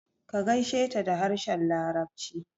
Ka gaisheta da harshen larabci